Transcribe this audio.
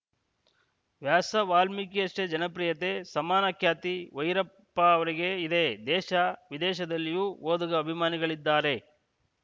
ವ್ಯಾಸ ವಾಲ್ಮೀಕಿಯಷ್ಟೇ ಜನಪ್ರಿಯತೆ ಸಮಾನ ಖ್ಯಾತಿ ವೈರಪ್ಪ ಅವರಿಗೆ ಇದೆ ದೇಶ ವಿದೇಶದಲ್ಲಿಯೂ ಓದುಗ ಅಭಿಮಾನಿಗಳಿದ್ದಾರೆ